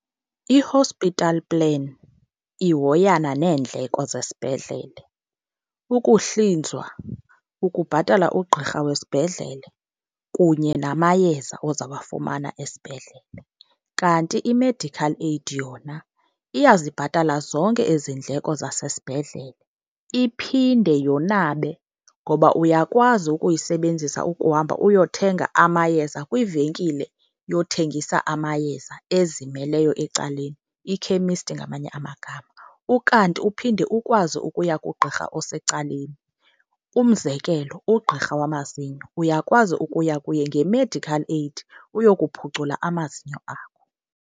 I-hospital plan ihoyana neendleko zesibhedlele. Ukuhlinzwa, ukubhatala ugqirha wesibhedlele, kunye namayeza ozawafumana esibhedlele. Kanti i-medical aid yona iyazibhatala zonke ezi ndleko zasesibhedlele iphinde yonabe ngoba uyakwazi ukuyisebenzisa ukuhamba uyothenga amayeza kwivenkile yothengisa amayeza ezimeleyo ecaleni, ikhemisti ngamanye amagama. Ukanti uphinde ukwazi ukuya kugqirha osecaleni. Umzekelo, ugqirha wamazinyo uyakwazi ukuya kuye nge-medical aid uyokuphucula amazinyo akho.